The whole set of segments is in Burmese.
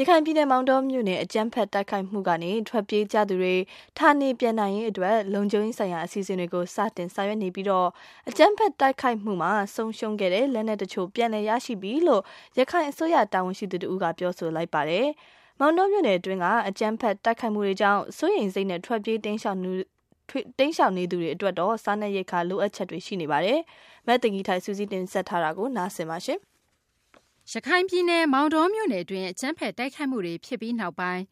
ရခိုင်ပြည်နယ် မောင်တောမြို့နယ် အကြမ်းဖက် တိုက်ခိုက်မှုကနေ ထွက်ပြေးကြသူတွေ ဌာနေပြန်နိုင်ရေး အတွက် လုံခြုံရေးဆိုင်ရာ အစီအစဉ်တွေ စတင်ဆောင်ရွက်နေပြီး အကြမ်းဖက်တိုက်ခိုက်မှုမှာ ဆုံးရှုံးခဲ့တဲ့ လက်နက် တချို့ ပြန်လည် ရရှိပြီလို့ ရခိုင်အစိုးရ တာဝန်ရှိသူ တဦးက ပြောဆိုလိုက်ပါတယ်။ မောင်တောမြို့နယ်တွင်းက အကြမ်းဖက် တိုက်ခိုက်မှုတွေကြောင့် စိုးရိမ်စိတ်နဲ့ ထွက်ပြေး တိမ်းရှောင်နေသူတွေ အတွက်တော့ စားနပ်ရိက္ခာ လိုအပ်ချက်တွေ ရှိနေပါတယ်။ မသိင်္ဂ ီထိုက် စုစည်းတင်ပြထားပါတယ်။ ရခိုင်ပြည်နယ် မောင်တောမြို့နယ်တွင်း အကြမ်းဖက် တိုက်ခိုက်မှုတွေ ဖြစ်ပြီးနောက်ပိုင်း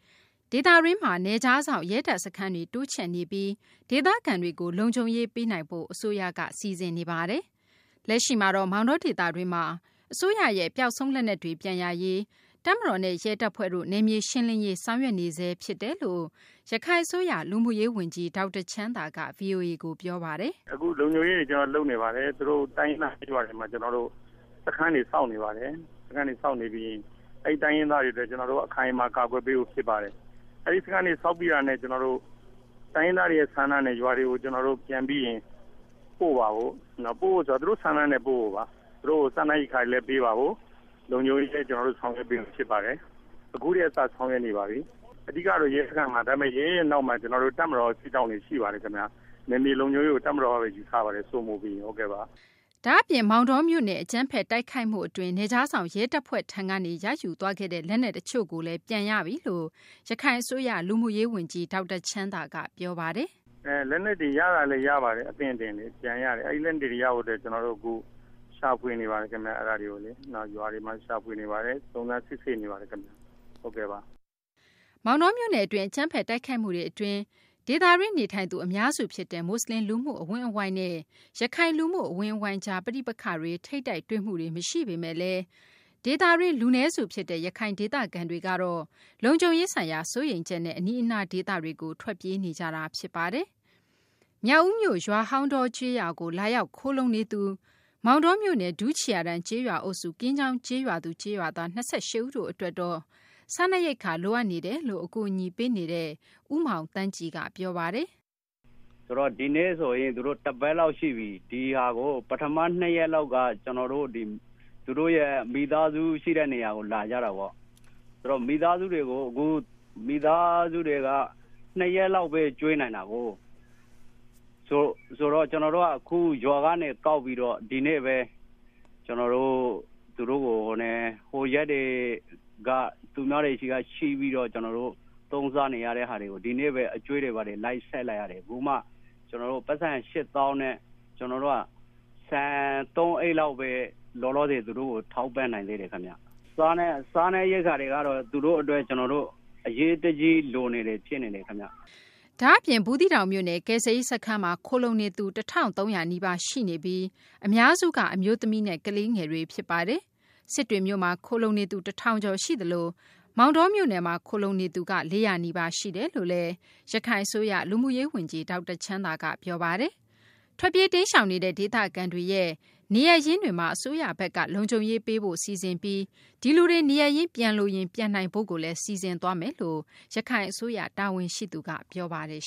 ဒေသတွင်းမှာ နယ်ခြားစောင့် ရဲတပ်စခန်းတွေ တိုးချဲ့နေပြီး ဒေသခံတွေကို လုံခြုံရေး ပေးနိုင်ဖို့ အစိုးရက စီစဉ်နေပါတယ်။ လက်ရှိမှာတော့ မောင်တောဒေသတွင်းမှာ အစိုးရရဲ့ ပျောက်ဆုံး လက်နက်တွေ ပြန်ရရေး တပ်မတော်နဲ့ ရဲတပ်ဖွဲ့တို့ နယ်မြေ ရှင်းလင်းရေး ဆောင်ရွက်နေဆဲ ဖြစ်တယ်လို့ ရခိုင်အစိုးရ လူမှုရေး ဝန်ကြီး ဒေါက်တာ ချမ်းသာက ဗွီအိုအေကို ပြောပါတယ်။ “အခုလုံခြုံရေးတွေ ကျနော်တို့ လုပ်နေပါတယ်။ အခုတိုင်းရင်းသားကျေးရွာတွေမှာ ကျနော်တို့ စခန်းတော့ စောင့်နေပါတယ်။ စခန်းတွေဆောက်နေပြီး အဲဒီတိုင်းရင်းသားတွေအတွက် အခိုင်အမာကာကွယ်ပေးဖို့ဖြစ်ပါတယ်။ အဲဒီစခန်းတွေဆောက်ပြီးတာနဲ့ ကျနော်တို့ တိုင်းရင်းသားတွေဆန္ဒနဲ့ ရွာတွေကိုပြန်ပြီးရင် ပိုမှာပါ။ ပို့မယ်ဆိုတာက သူတို့ဆန္ဒနဲ့ ပို့မှာပါ။ သူတို့ကို စားနပ်ရိက္ခာတွေလည်းပေးမှာပါ။ လုံခြုံရေးလည်း ကျနော်တို့ ဆောင်ရွက်ပေးမှာဖြစ်ပါတယ်။ အခုကတည်းကနေစပြီးဆောင်ရွက်ပေးနေပါပြီ။ အဓိကတော့ ရဲစခန်းပါ ဒါပေမယ့် ရဲရဲ့နောက်မှာ ကျနော်တို့ တပ်မတော်တွေ စစ်ကြောင်းတွေ ရှိပါတယ်ခင်ဗျ။ နယ်မြေလုံခြုံရေးကိုတပ်မတော် တပ်မတော်ကပဲယူထားပါတယ် စိုးမိုးရေးအတွက်ပါ။” ဒါ့အပြင် မောင်တောမြို့နယ် အကြမ်းဖက် တိုက်ခိုက်မှု အတွင်း နယ်ခြားစောင့် ရဲတပ်ဖွဲ့တွေထံက ရယူသွားခဲ့တဲ့ လက်နက်တချို့ကိုလည်း ပြန်ရပြီလို့ ရခိုင်အစိုးရ လူမှုရေး ဝန်ကြီး ဒေါက်တာ ချမ်းသာက ပြောပါတယ်။ “ လက်နက်တွေရတာလည်း ရပါတယ် အသင့်အသင့်။ အဲဒီလက်နက်တွေပြန်ရဖို့အခု ရှာဖွေနေပါတယ်ခင်ဗျ။ ရွာတွေမှာ ရှာဖွေနေပါတယ်။ စုံစမ်းစစ်ဆေးနေပါတယ် ဟုတ်ကဲ့ပါ။” မောင်တောမြို့နယ် အတွင်း အကြမ်းဖက် တိုက်ခိုက်မှု အတွင်း ဒေသတွင်း နေထိုင်သူ အများစု ဖြစ်တဲ့ မူဆလင် လူမှုအဝန်းအဝိုင်းနဲ့ ရခိုင် လူမှု အဝန်းအဝိုင်းကြား ပဋိပက္ခတွေ ထိပ်တိုက်တွေ့မှုတွေ မရှိပေမယ့်လည်း ဒေသတွင်း လူနည်းစု ဖြစ်တဲ့ ရခိုင်ဒေသခံတွေကတော့ လုံခြုံရေး ဆိုင်ရာ စိုးရိမ်ချက်နဲ့ အနီးအနား ဒေသတွေကို ထွက်ပြေးနေကြတာပါ။ မြောက်ဦးမြို့ ရွာဟောင်းတော ကျေးရွာကို လာရောက်ခိုလှုံနေသူ မောင်တောမြို့နယ် ဒူးချေရာတန်း ကျေးရွာ အုပ်စု ကင်းချောင်းကျေးရွာသူ ၂၈ ဦးတို့ အတွက်တော့ စားနပ်ရိက္ခာ လိုအပ်နေတယ်လို့ အကူအညီပေးနေသူ ဦးမောင်သန်းကြည်က ပြောပါတယ်။ “ ဒီနေ့ဆိုရင် သူတို့ တပတ်လောက်ရှိပြီ ။ ဒီဟာကို ပထမ ၂ ရက်လောက်က ကျနော်တို့ သူတို့ မိသားစုရှိတဲ့နေရာကို လာကြတာပေါ့ ဆိုတော့ မိသားစုတွေက ၂ ရက်လောက်ပဲ ကျွေးနိုင်တာကို ။ ဆိုတော့အခု ကျနော်တို့က ရွာကနေကောက်ပြီးတော့ ဒီကနေ့ပဲ ကျနော်တို့ သူတို့ကို ဟိုရက်တွေ သူတို့ကို သူများတွေစီက ချေးပြီးတော့ သုံးစားနေရတာတွေကို ဒီကနေ့ပဲ အကြွေးတွေလိုက် ဆပ်လိုက်ရတယ် အခုမှ ကျနော်တို့ ပိုက်ဆံ ၈ သောင်းနဲ့ ကျနော်တို့က ဆန် ၃ အိတ်လောက်ပဲ ကျနော်တို့ သူတို့ကို ထောက်ပံ့နိုင်သေးတယ်ခင်ဗျ။ စားနပ်ရိက္ခာတွေကတော့ သူတို့အတွက် ကျနော်တို့ သူတို့အတွက် အရေးတကြီးလိုနေတာ ဖြစ်နေတယ်ခင်ဗျ။” ဒါ့အပြင် ဘူးသီးတောင်မြို့နယ် ကယ်ဆယ်ရေး စခန်းမှာ ခိုလှုံနေသူ ၁၃၀၀ နီးပါးရှိနေပြီး အများစုက အမျိုးသမီးနဲ့ ကလေးငယ်တွေ ဖြစ်ပါတယ်။ စစ်တွေမြို့မှာ ခိုလှုံနေသူ ၁ ထောင်ကျော် ရှိသလို မောင်တောမြို့နယ်မှာ ခိုလှုံနေသူ ၄၀၀ နီးပါး ရှိတယ်လို့လည်း ရခိုင် အစိုးရ လူမှုရေး ဝန်ကြီး ဒေါက်တာ ချမ်းသာက ပြောပါတယ်။ ထွက်ပြေးတိမ်းရှောင်နေတဲ့ ဒေသခံတွေရဲ့ နေရပ်ရင်းတွေမှာ အစိုးရဘက်က လုံခြုံရေး ပေးဖို့ စီစဉ်ပြီး ဒီလူတွေ နေရပ်ရင်း ပြန်လိုရင် ပြန်နိုင်ဖို့လည်း စီစဉ်သွားမယ်လို့ ရခိုင် အစိုးရ တာဝန်ရှိသူက ပြောပါတယ်